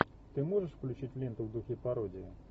ты можешь включить ленту в духе пародии